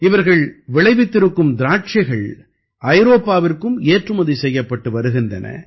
இவர்கள் விளைவித்திருக்கும் திராட்சைகள் ஐரோப்பாவிற்கும் ஏற்றுமதி செய்யப்பட்டு வருகின்றன